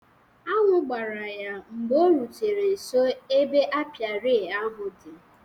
Añụ gbara ya mgbe o rutere nso ebe apịary ahụ di